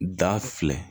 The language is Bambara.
Da filɛ